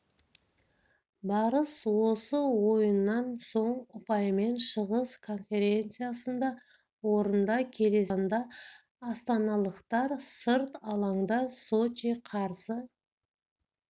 барыс осы ойыннан соң ұпаймен шығыс конференциясында орында келесі кездесуді қазанда астаналықтар сырт алаңда сочи қарсы